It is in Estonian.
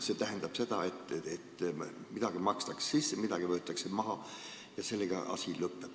See tähendab seda, et midagi makstakse sisse ja midagi võetakse maha – sellega asi lõpeb.